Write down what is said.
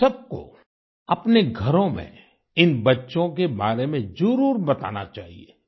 हम सबको अपने घरों में इन बच्चों के बारे में जरुर बताना चाहिए